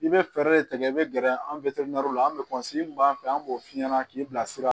I bɛ fɛɛrɛ de tigɛ i bɛ gɛrɛ an la an bɛ min b'an fɛ yan an b'o f'i ɲɛna k'i bilasira